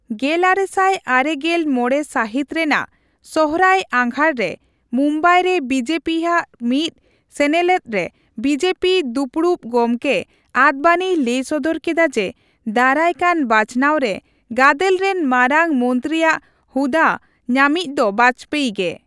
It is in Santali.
ᱜᱮᱞᱟᱨᱮᱥᱟᱭ ᱟᱨᱮ ᱜᱮᱞ ᱢᱚᱲᱮ ᱥᱟᱦᱤᱛ ᱨᱮᱱᱟᱜ ᱥᱚᱦᱨᱟᱭᱼᱟᱜᱷᱟᱲ ᱨᱮ ᱢᱩᱢᱵᱟᱭᱨᱮ ᱵᱤᱡᱮᱯᱤ ᱦᱟᱜ ᱢᱤᱫ ᱥᱮᱱᱮᱞᱮᱫᱨᱮ ᱵᱤᱡᱮᱯᱤ ᱫᱩᱯᱩᱲᱩᱵ ᱜᱚᱢᱠᱮ ᱟᱰᱵᱟᱱᱤᱭ ᱞᱟᱹᱭ ᱥᱚᱫᱚᱨ ᱠᱮᱫᱟ ᱡᱮ, ᱫᱟᱨᱟᱭᱠᱟᱱ ᱵᱟᱪᱷᱱᱟᱣ ᱨᱮ ᱜᱟᱫᱮᱞᱨᱮᱱ ᱢᱟᱨᱟᱝ ᱢᱚᱱᱛᱨᱤᱟᱜ ᱦᱩᱫᱟᱹ ᱧᱟᱢᱤᱡ ᱫᱚ ᱵᱟᱡᱽᱯᱮᱭᱤ ᱜᱮ ᱾